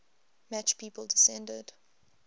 match people descended